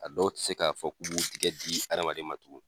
A dɔw ti se k'a fɔ k'u b'u tigɛ di adamaden ma tugu.